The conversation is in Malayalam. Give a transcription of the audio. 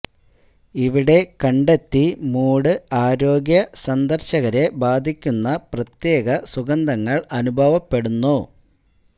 ഇവിടെ കണ്ടെത്തി മൂഡ് ആരോഗ്യ സന്ദർശകരെ ബാധിക്കുന്ന പ്രത്യേക സുഗന്ധങ്ങൾ അനുഭവപ്പെടുന്നു